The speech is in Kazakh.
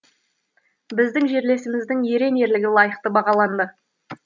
біздің жерлесіміздің ерен ерлігі лайықты бағаланды